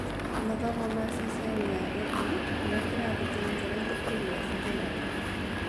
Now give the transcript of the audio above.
Mathomo ma ceceni ya Edu (kĩrathi kĩa mbere thukuru ya thekondarĩ)